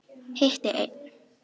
Hitti einn.